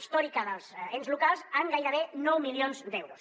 històrica dels ens locals en gairebé nou milions d’euros